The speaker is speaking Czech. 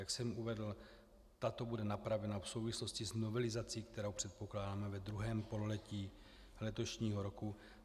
Jak jsem uvedl, tato bude napravena v souvislosti s novelizací, kterou předpokládáme ve druhém pololetí letošního roku.